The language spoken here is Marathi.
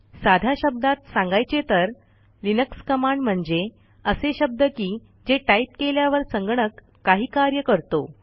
साध्या शब्दात सांगायचे तर लिनक्स कमांड म्हणजे असे शब्द की जे टाईप केल्यावर संगणक काही कार्य करतो